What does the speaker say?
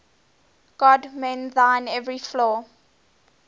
god mend thine every flaw